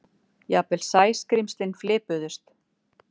Jafnvel Sæskrímslin fipuðust.